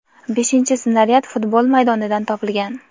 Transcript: beshinchi snaryad futbol maydonidan topilgan.